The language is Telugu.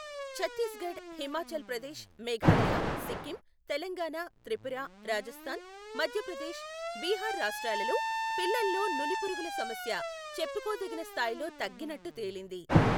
ఛత్తీస్ఘడ్, హిమాచల్ ప్రదేశ్, మేఘాలయ, సిక్కిం, తెలంగాణ, త్రిపుర, రాజస్థాన్ , మధ్యప్రదేశ్, బీహార్ రాష్ట్రాలలో పిల్లల్లో నులిపురుగుల సమస్య చెప్పుకోదగిన స్థాయిలో తగ్గినట్టు తేలింది.